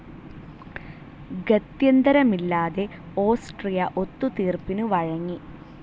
ഗത്യന്തരമില്ലാതെ Austria ഒത്തു തീർപ്പിനു വഴങ്ങി.